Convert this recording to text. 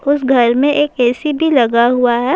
اس گھر میں ایک اے سی بھی لگا ہوا ہے